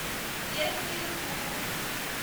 верхнюю туру